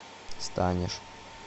станешь